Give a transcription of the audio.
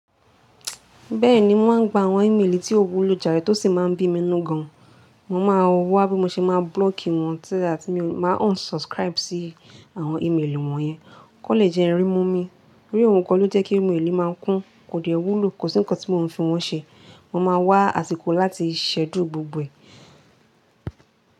Bẹ́ẹ̀ni, mo máa ń gba àwọn ímélì tí ò wúlọ jàrẹ̀ tó sì máa ń bí mi nínú gan. Mo máa wá bí mo ṣe máa block wọ́n so that, máa unsubscribe sí àwọn ímélì wọ́n yẹn kan le jẹ́ n rimu mi. Bóyá ohun gan ló jẹ́ kí ímélì máa ń kún, kò diẹ wúlò, kò sí nǹkan tí mò ń fi wọ́n ṣe. Mo máa wá àsìkò láti ṣchedule gbogbo ẹ̀.